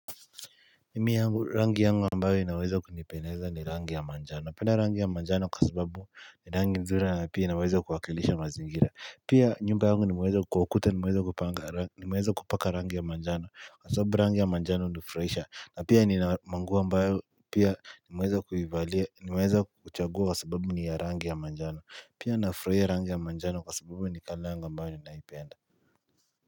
Mimi yangu rangi yangu ambayo inaweza kunipendeza ni rangi ya manjano na penda rangi ya manjano kwa sababu ni rangi mzula na pia inaweza kuwakilisha mazingira Pia nyumba wangu nimaweza kuwakuta nimeweza kupaka rangi ya manjano Asobu rangi ya manjano nifraisha na pia ni mwangu ambayo pia ni mweza kuwivalia ni mweza kuchagua kwa sababu ni ya rangi ya manjano Pia nafuahua r rangi ya manjano kwa sababu ni kalangu ambayo ninaipenda.